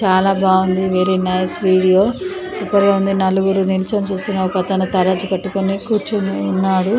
చాలా బాగుంది very nice video super గా ఉంది. నలుగురు నిల్చోని చూస్తున్నరు. ఒక అత్తరు తరచు పట్టుకొని కూర్చొని ఉన్నాడు.